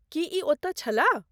की ई ओतय छलाह?